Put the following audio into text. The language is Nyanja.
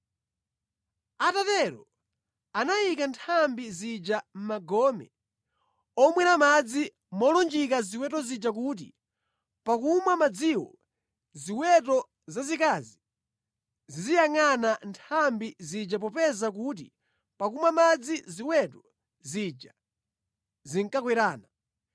Atatero anayika nthambi zija mʼmagome omwera madzi molunjika ziweto zija kuti pakumwa madziwo ziweto zazikazi ziziyangʼana nthambi zija popeza kuti pakumwa madzi ziweto zija zinkakwerana.